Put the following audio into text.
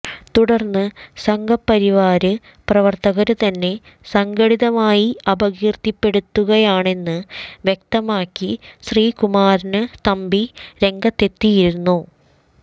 തുടര്ന്ന് സംഘപരിവാര് പ്രവര്ത്തകര് തന്നെ സംഘടിതമായി അപകീര്ത്തിപ്പെടുത്തുകയാണെന്ന് വ്യക്തമാക്കി ശ്രീകുമാരന് തമ്പി രംഗത്തെത്തിയിരുന്നു